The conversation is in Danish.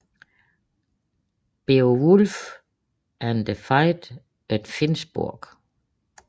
Beowulf and the Fight at Finnsburg